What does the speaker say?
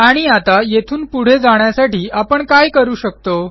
आणि आता येथून पुढे जाण्यासाठी आपण काय करू शकतो